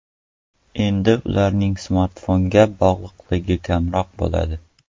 Endi ularning smartfonga bog‘liqligi kamroq bo‘ladi.